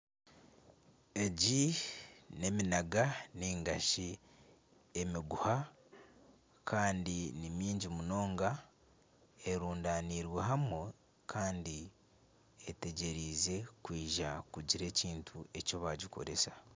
Egi n'eminaga nari shi emiguha kandi n'emingi munonga erundaniirwe hamwe kandi etegyereize kugira ekintu eki baagikoresa